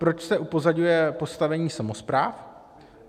Proč se upozaďuje postavení samospráv?